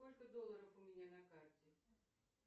сколько долларов у меня на карте